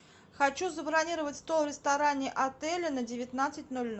хочу забронировать стол в ресторане отеля на девятнадцать ноль ноль